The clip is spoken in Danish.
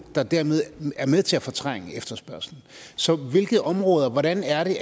der dermed er med til at fortrænge efterspørgslen så hvordan er det